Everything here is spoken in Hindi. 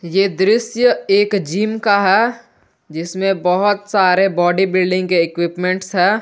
ये दृश्य एक जिम का है जिसमें बहुत सारे बॉडी बिल्डिंग के इक्विपमेंट्स है।